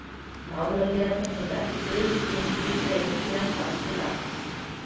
Málaliðarnir höfðu ekki brugðið fingri í greip síðan sást til lands.